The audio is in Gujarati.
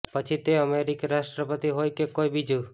પછી તે અમેરિકી રાષ્ટ્રપતિ હોય કે કોઇ બીજુ